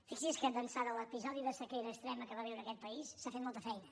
fixi’s que d’ençà de l’episodi de sequera extrema que va viure aquest país s’ha fet molta feina